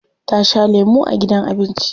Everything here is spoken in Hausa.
Ta sha lemu a gidan abinci.